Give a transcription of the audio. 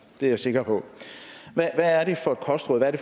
det er jeg sikker på hvad er det for